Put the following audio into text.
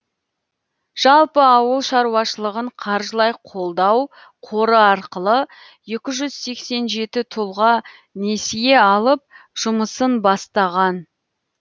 жалпы ауыл шаруашылығын қаржылай қолдау қоры арқылы екі жүз сексен жеті тұлға несие алып жұмысын бастаған